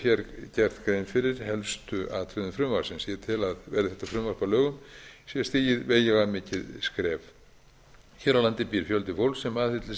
ég hef hér gert grein fyrir helstu atriðum frumvarpsins ég tel að verði þetta frumvarp að lögum sé stigið veigamikið skref hér á landi býr fjöldi fólks sem aðhyllist